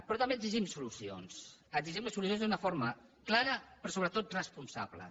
però també exigim solucions exigim solucions d’una forma clara però sobretot responsable